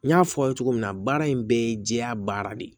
N y'a fɔ aw ye cogo min na baara in bɛɛ ye jɛya baara de ye